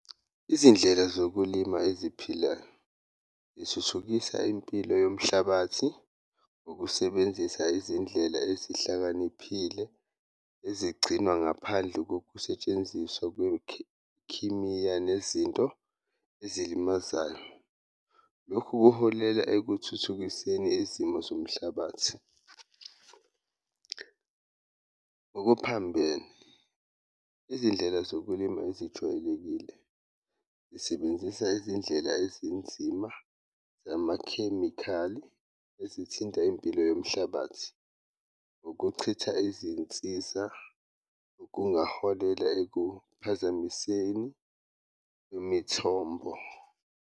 Izindlela zokulima eziphilayo zithuthukisa impilo yomhlabathi, ukusebenzisa izindlela ezihlakaniphile ezigcinwa ngaphandle kokusetshenziswa nezinto ezilimazayo, lokhu kuholela ekuthuthukiseni izimo zomhlabathi. Ngokuphambene izindlela zokulima ezijwayelekile zisebenzisa izindlela ezinzima, amakhemikhali ezithinta impilo yomhlabathi, ukuchitha izinsiza kungaholela ekuphazamiseni imithombo